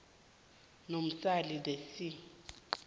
namasil the sea